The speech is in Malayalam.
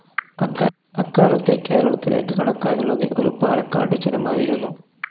അക്കാലത്ത് കേരളത്തിലേക്ക് കടക്കാനുള്ളത് ഒരു പാലക്കാട്ടു ചുരമായിരുന്നു.